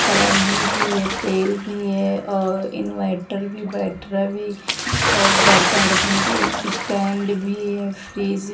कराही भी है तेल भी है और इन्वेटर भी बैटरा भी और बर्तन रखने का स्टैंड भी है फ्रिज --